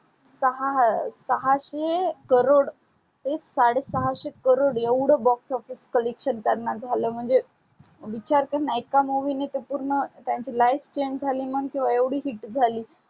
सहासे crore तेच साडे सहासे crore येवड Box Office collection झाल म्हणजे विचार करण एका movie ने तर पूर्ण त्यांची life change झाली म्हणण किवा hits झाली.